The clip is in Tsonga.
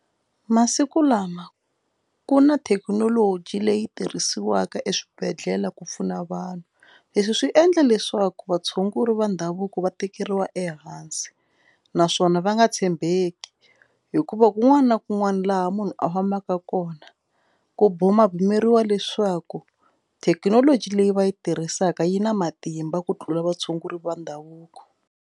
Masiku lama ku na thekinoloji leyi tirhisiwaka eswibedhlele ku pfuna vanhu leswi swi endla leswaku vatshunguri va ndhavuko va tekeriwa ehansi naswona va nga tshembeki hikuva kun'wana na kun'wana laha munhu a fambaka kona ku bumabumeriwi leswaku thekinoloji leyi va yi tirhisaka yi na matimba ku tlula vatshunguri va ndhavuko.